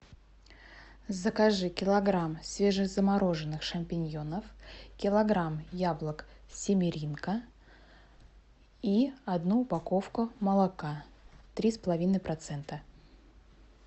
закажи килограмм свежезамороженных шампиньонов килограмм яблок симеринка и одну упаковку молока три с половиной процента